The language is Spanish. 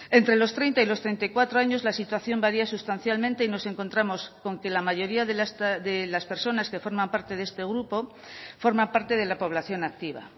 entre los treinta y los treinta y cuatro años la situación varía sustancialmente y nos encontramos con que la mayoría de las personas que forman parte de este grupo forma parte de la población activa